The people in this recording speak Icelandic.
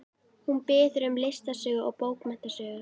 Hún biður um listasögu og bókmenntasögu.